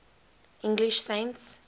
english saints